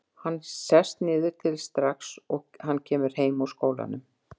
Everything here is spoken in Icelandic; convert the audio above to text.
Hann sest niður til þess strax og hann kemur heim úr skólanum.